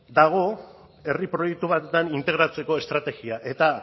dago herri proiektu batean integratzeko estrategia eta